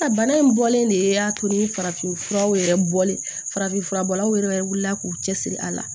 A bana in bɔlen de y'a to ni farafin furaw yɛrɛ bɔlen farafin fura bɔlaw yɛrɛ wulila k'u cɛsiri a la